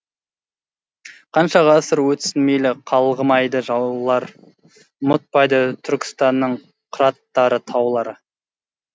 қанша ғасыр өтсін мейлі қалғымайды жаулары ұмытпайды түркістанның қыраттары таулары